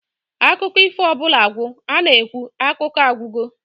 Akụkọ ifo ọbụla gwụ, a-na ekwu "Akụkọ a agwụgo"